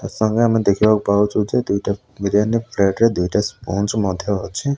ଆ ସଙ୍ଗେ ଆମେ ଦେଖିବାକୁ ପାଉଚୁ ଯେ ଦୁଇଟା ବିରିଆନି ପ୍ଲେଟ୍ ରେ ଦିଟା ସ୍ପଞ୍ଜ୍ ମଧ୍ୟ ଅଛି।